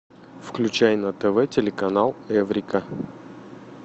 включай на тв телеканал эврика